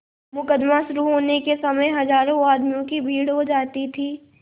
मुकदमा शुरु होने के समय हजारों आदमियों की भीड़ हो जाती थी